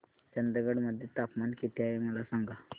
चंदगड मध्ये तापमान किती आहे मला सांगा